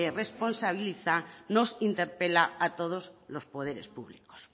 responsabiliza nos interpela a todos los poderes públicos